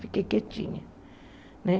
Fiquei quietinha né.